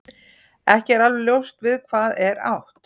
Ekki er alveg ljóst við hvað er átt.